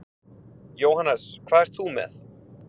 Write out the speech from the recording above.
Jóhannes: Hvað ert þú með?